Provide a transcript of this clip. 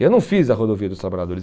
Eu não fiz a Rodovia dos Trabalhadores.